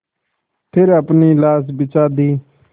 फिर अपनी लाश बिछा दी